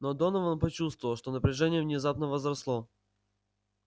но донован почувствовал что напряжение внезапно возросло